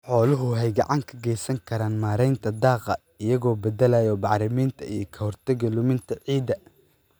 Xooluhu waxay gacan ka geysan karaan maaraynta daaqa iyagoo beddelaya bacriminta iyo ka hortagga luminta ciidda.